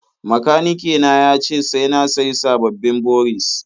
Makanike na ya ce sai na sayi sababbin boris.